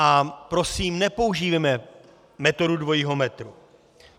A prosím, nepoužívejme metodu dvojího metru.